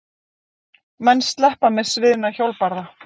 Menn sleppa með sviðna hjólbarða?